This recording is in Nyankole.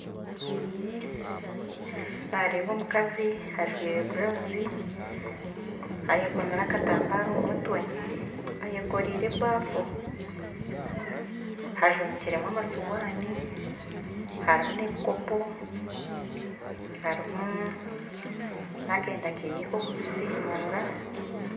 Nareeba omukazi ajwaire burawuzi ayekomire akatambare omumutwe ayekoreire ebaafu ajumikiremu amasuwaani harimu nebikopo harimu nakenda kehe kokubisiimuura